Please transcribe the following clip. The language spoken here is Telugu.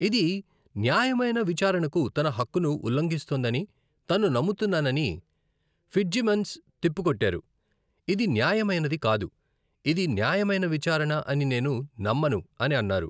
ఇది న్యాయమైన విచారణకు తన హక్కును ఉల్లంఘిస్తోందని తను నమ్ముతున్నానని ఫిట్జ్సిమన్స్ తిప్పికొట్టారు, ఇది న్యాయమైనది కాదు. ఇది న్యాయమైన విచారణ అని నేను నమ్మను అని అన్నారు.